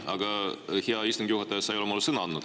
Aga, hea istungi juhataja, sa ei ole mulle sõna andnud.